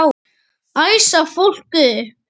Æsa fólk upp?